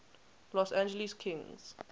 los angeles kings